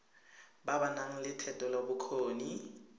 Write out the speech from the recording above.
ba ba nang le thetelelobokgoni